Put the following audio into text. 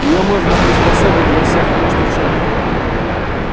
её можно приспособить для всех нужд учёных